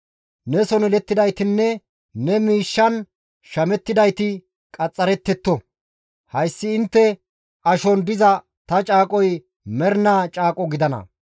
Neson yelettidaytinne ne miishshan shamettidayti qaxxarettetto; hayssi intte ashon diza ta caaqoy mernaa caaqo gidana.